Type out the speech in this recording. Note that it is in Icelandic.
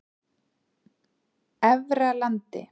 Efralandi